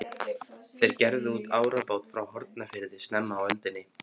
Þeir gerðu út árabát frá Hornafirði snemma á öldinni.